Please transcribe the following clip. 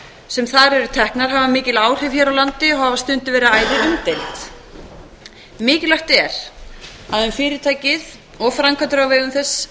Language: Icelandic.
sem þar eru teknar hafa mikil áhrif hér á landi og hafa stundum verið æði umdeild mikilvægt er að um fyrirtækið og um framkvæmdir á vegum þess